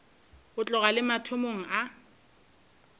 go tloga le mathomong a